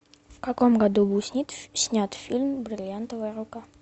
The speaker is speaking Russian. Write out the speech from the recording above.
в каком году был снят фильм бриллиантовая рука